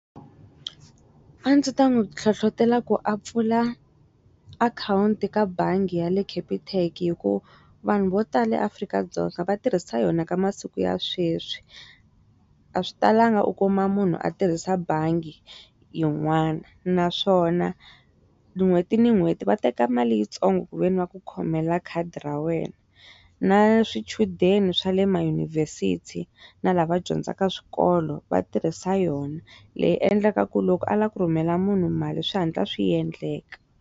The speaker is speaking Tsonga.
A ndzi ta n'wi hlohlotela ku a pfula akhawunti ka bangi ya le khepitheki hi ku vanhu vo tala eAfrika-Dzonga vatirhisa yona ka masiku ya sweswi a swi talangi u kuma munhu a tirhisa bangi yin'wani naswona n'hweti ni n'hweti va teka mali yitsongo ku ve ni va ku khomela khadi ra wena na swichudeni swa le ma yunivhesithi na lava dyondzaka swikolo vatirhisa yona leyi endleka ku loko a la ku rhumela munhu mali swi hatla swi endleka.